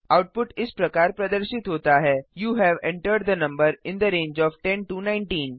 output इस प्रकार प्रदर्शित होता है you have entered the number in the range of 10 19